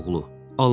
Alman malı.